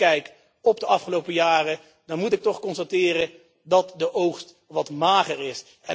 En als ik terugkijk op de afgelopen jaren, dan moet ik toch constateren dat de oogst wat mager is.